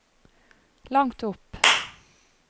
langt opp